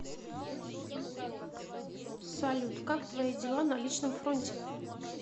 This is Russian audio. салют как твои дела на личном фронте